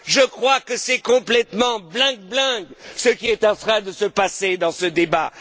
Je crois que c'est complètement bling bling ce qui est en train de se passer dans ce débat.